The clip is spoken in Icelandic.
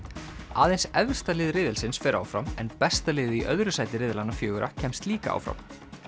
aðeins efsta lið riðilsins fer áfram en besta liðið í öðru sæti riðlanna fjögurra kemst líka áfram